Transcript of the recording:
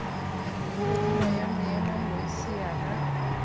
podumo ya moemanotshi ya ba